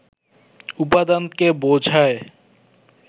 উপাদানকে বোঝায়